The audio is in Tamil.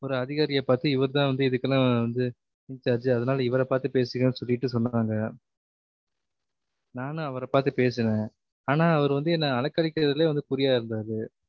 ஒரு அதிகாரியை பாத்து இவர் தான் வந்து இதுகுஎல்லாம் வந்து incharge அதனால இவர பாத்து பேசுங்க சொல்லிட்டு சொன்னாங்க நானும் அவரை பாத்து பேசின ஆனா அவரு வந்து என்ன அலைக்கழிக்கிறதுலயே வந்து குறியா இருந்தாரு